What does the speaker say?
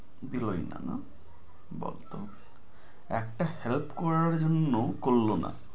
দিলোই না না? বদলোক একটা help করার জন্য করল না